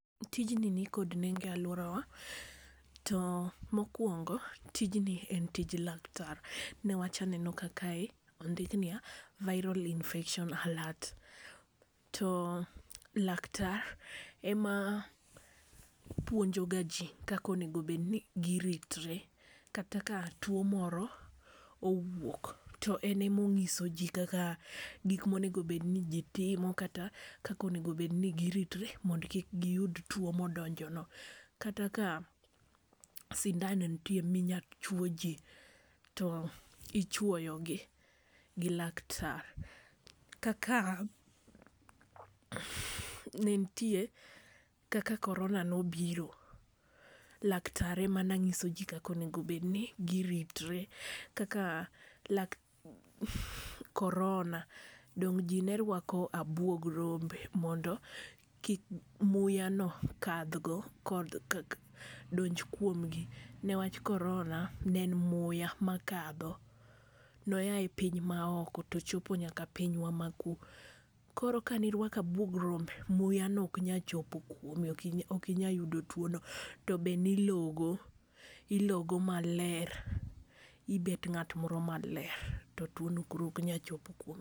Tijni nikod nengo e alworawa, to mokwongo tijni en tij laktar. Newach aneno ka kae ondikniya viral infection aler. To laktar ema puonjo ga ji kaka onego bed ni giritore kata ka two moro owuok to en ema onyiso ji kaka gik ma onego bed ni ji timo. Kata kaka onego bed ni giritore mondo kik giyud two modonjo no. Kata ka sindan nitie minya chwo ji to ichwoyo gi gi laktar. Kaka ne ntie kaka corona ne obiro, laktar ema ne nyiso ji kaka onego bed ni giritore. Kaka corona dong ji ne rwako abuog rombe mondo kik muya no kadh go donj kuom gi mewach korona ne en muya makadho. Noya e piny ma oko to ochopo nyaka pinywa ma ku. Koro ka ne irwako abuog rombe, muya ne ok nyal chopo kuomi, okinyal okinyal yudo two no. To be ne ilogo, ilogo maler. Ibet ng'at moro maler to two no koro ok nyal chopo kuomi.